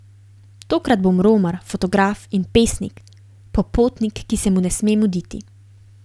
Tokrat bom romar, fotograf in pesnik, popotnik, ki se mu ne sme muditi.